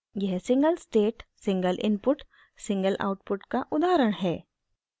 यह single state single input single output का उदाहरण है